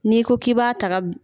N'i ko k' b'a taga.